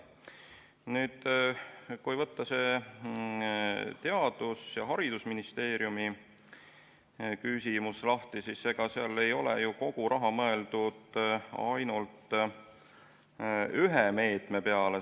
Nüüd, kui võtta see Haridus- ja Teadusministeeriumi küsimus lahti, siis ega seal ei ole ju kogu raha mõeldud ainult ühe meetme peale.